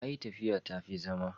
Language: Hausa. a yi tafiya ta fi zama